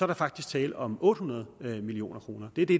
der faktisk tale om otte hundrede million kroner det er det